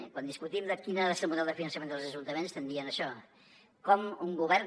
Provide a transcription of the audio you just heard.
i quan discutim quin ha de ser el model de finançament dels ajuntaments estem dient això com un govern